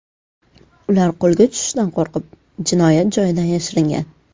Ular qo‘lga tushishdan qo‘rqib, jinoyat joyidan yashiringan.